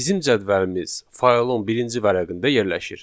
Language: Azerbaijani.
Bizim cədvəlimiz faylın birinci vərəqində yerləşir.